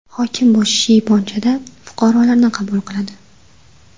Hokim bu shiyponchada fuqarolarni qabul qiladi.